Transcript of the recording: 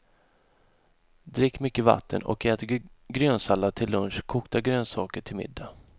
Drick mycket vatten och ät grönsallad till lunch, kokta grönsaker till middag.